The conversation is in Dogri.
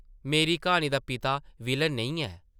मेरी क्हानी दा पिता विलेन नेईं ऐ ।